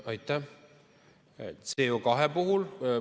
Aitäh!